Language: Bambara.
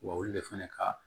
Wa olu de fana ka